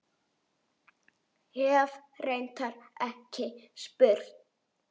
Hef reyndar ekki spurt.